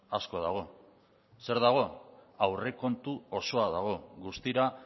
asko dago zer dago aurrekontu osoa dago guztira